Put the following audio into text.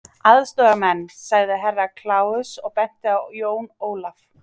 Aðstoðarmenn, sagði Herra Kláus og benti á Jón Ólaf.